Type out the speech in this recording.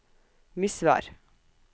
Misvær